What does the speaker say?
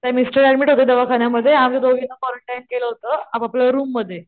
तर mister admit होते दवाखान्या मध्ये आम्ही दोघींना क्वारंटाईन केलं होत आपआपल्या रूम मध्ये.